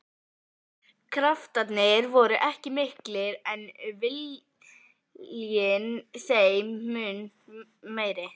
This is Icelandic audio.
Kraftarnir voru ekki miklir en viljinn þeim mun meiri.